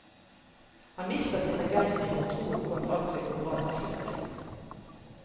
Han mister sin begeistring og troen på at alt vil gå bra til slutt.